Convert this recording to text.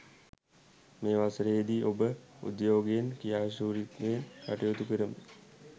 මේ වසරේදි ඔබ උද්යෝගයෙන් ක්‍රියාශූරත්වයෙන් කටයුතු කරමින්